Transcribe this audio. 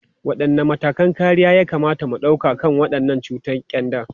Wadanne matakan kariya ya kamata mu dauka kan wannan cutar kyanda?